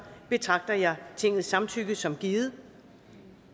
betragter jeg tingets samtykke som givet